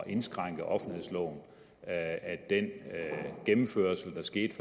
indskrænke offentlighedsloven den gennemførelse der skete